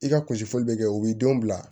I ka kunsi bɛ kɛ o b'i denw bila